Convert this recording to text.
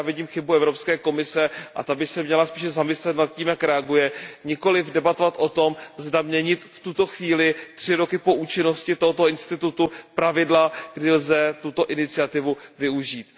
A tady já vidím chybu Evropské komise a ta by se měla spíše zamyslet nad tím, jak reaguje, nikoliv debatovat o tom, zda měnit v tuto chvíli tři roky po účinnosti tohoto institutu pravidla, kdy lze tuto iniciativu využít.